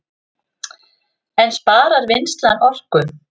En sparar vinnslan orku